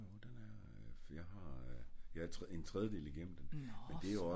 Jo den er jeg har jeg er en tredje del igennem den